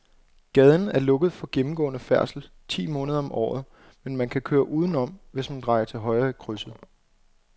Gaden er lukket for gennemgående færdsel ti måneder om året, men man kan køre udenom, hvis man drejer til højre i krydset.